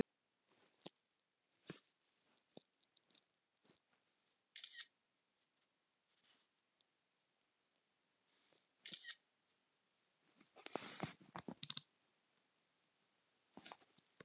Og borða góðan mat.